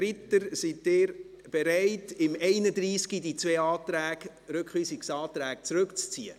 Ritter, sind Sie bereit, Ihre Rückweisungsanträge beim Traktandum 31 zurückzuziehen?